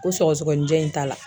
Ko sɔgɔsɔgɔnijɛ in t'a la